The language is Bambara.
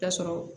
Ta sɔrɔ